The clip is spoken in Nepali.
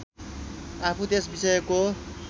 आफू त्यस विषयको